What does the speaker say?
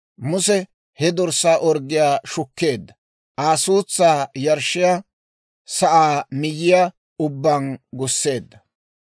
Muse he dorssaa orggiyaa shukkeedda; Aa suutsaa yarshshiyaa sa'aa miyyiyaa ubbaan gusseedda.